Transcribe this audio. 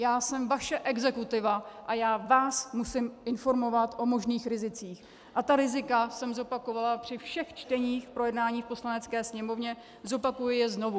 Já jsem vaše exekutiva a já vás musím informovat o možných rizicích a ta rizika jsem zopakovala při všech čteních projednání v Poslanecké sněmovně, zopakuji je znovu.